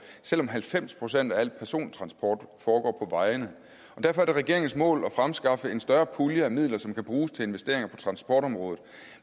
selv om halvfems procent af al persontransport foregår på vejene derfor er det regeringens mål at fremskaffe en større pulje af midler som kan bruges til investeringer på transportområdet